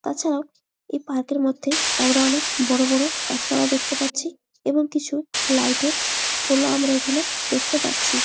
তাছাড়াও এই পার্ক এর মধ্যে আমরা অনেক বড়ো বড়ো গাছপালা দেখতে পাচ্ছি এবং কিছু লাইট এর পোল ও আমরা এইখানে দেখতে পাচ্ছি।